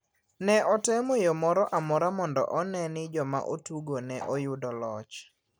Ne otemo yo moro amora mondo one ni joma otugone oyudo loch.